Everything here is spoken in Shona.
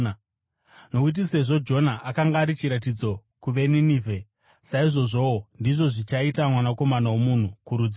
Nokuti sezvo Jona akanga ari chiratidzo kuvaNinevhe, saizvozvowo ndizvo zvichaita Mwanakomana woMunhu kurudzi urwu.